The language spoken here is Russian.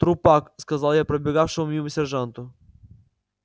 трупак сказал я пробегавшему мимо сержанту